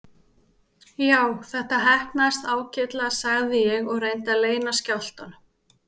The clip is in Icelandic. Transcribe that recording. Já, þetta heppnaðist ágætlega sagði ég og reyndi að leyna skjálftanum.